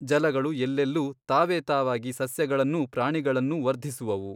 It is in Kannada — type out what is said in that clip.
ಜಲಗಳು ಎಲ್ಲೆಲ್ಲೂ ತಾವೇ ತಾವಾಗಿ ಸಸ್ಯಗಳನ್ನೂ ಪ್ರಾಣಿಗಳನ್ನೂ ವರ್ಧಿಸುವುವು.